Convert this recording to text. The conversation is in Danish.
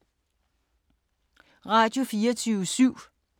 Radio24syv